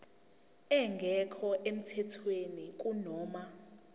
engekho emthethweni kunoma